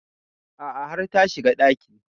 A'a har ta shiga ɗakin